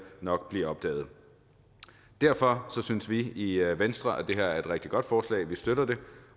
nok blive opdaget derfor synes vi i venstre at det her er et rigtig godt forslag vi støtter det